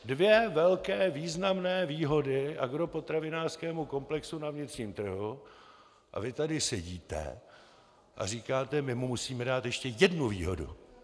Dvě velké významné výhody agropotravinářskému komplexu na vnitřním trhu - a vy tady sedíte a říkáte: My mu musíme dát ještě jednu výhodu.